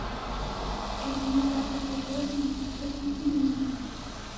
ионизатор в уборной погасить на минуту